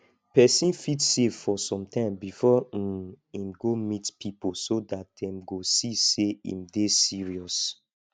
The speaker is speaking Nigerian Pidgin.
person fit save for sometime before um im go meet pipo so dat dem go see sey im dey serious